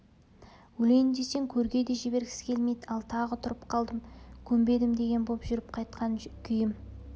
өлейін десең көрге де жібергісі келмейді ал тағы тұрып қалдым көнбедім деген боп жүріп жатқан күйім